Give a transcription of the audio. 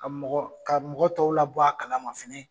Ka mɔgɔ, ka mɔgɔ tɔw la bɔ a kalama fɛnɛ